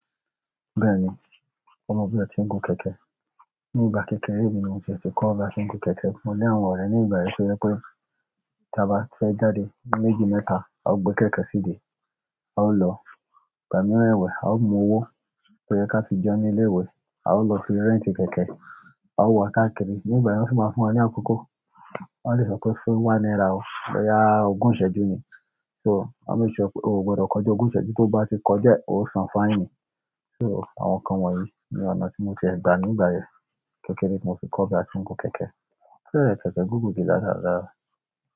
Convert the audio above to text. Bẹ́ẹ̀ni, mo mọ bí atí ń gun kẹ̀kẹ́. Ni ìgbà kékeré mi ni mo ti e tikọ̀ bà tí ń gun kẹ̀kẹ́. Mo lé àwọn ọ̀rẹ́ ní ìgbà yẹn to je pé, tí a bá fẹ́ jáde méjì mẹ́ta, a ó gbe kẹ̀kẹ́ side. A ó lọ ìgbà mìíràn ẹ̀wẹ́, a ó mu owó tó yẹ ká fi jẹun ní ilé ìwé, a ó lọ fi rẹ́ntì kẹ̀kẹ́, a ó wa kakiri. Ní ìgbà yẹn, wọ́n sì máa ń fún wa ní àkókò. Wọ́n lè sọ pé ó fún one náírà o, bo ya ogún ìsẹ́jú ni. So, a make sure pe, o ò gbọdọ̀ kọjá ogún ìsẹ́jú, tó bá ti kọjá, o san fàìní. So àwọn nkan wọ̀nyí ni ọ̀nà ti mo ti e gba ni gba yen, kékeré mo ti ko ba ti n gun kẹ̀kẹ́. Kí ló é kẹ̀kẹ́ gúgù ti lá làlá?